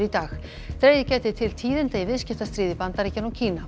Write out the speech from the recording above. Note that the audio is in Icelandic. í dag dregið gæti til tíðinda í viðskiptastríði Bandaríkjanna og Kína